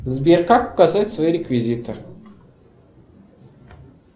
сбер как указать свои реквизиты